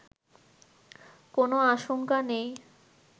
কোন আশংকা নেই